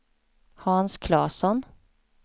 Hans Claesson